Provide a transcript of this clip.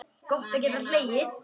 Gott að geta hlegið.